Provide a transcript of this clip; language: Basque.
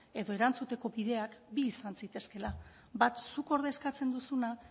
edo erantzuteko bideak bi izan zitezkeela bat zuk ordezkatzen duzuna